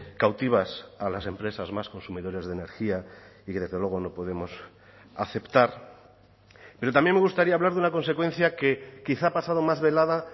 cautivas a las empresas más consumidores de energía y que desde luego no podemos aceptar pero también me gustaría hablar de una consecuencia que quizá ha pasado más velada